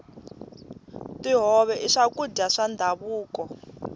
tihove i swakudya swa ndhavuko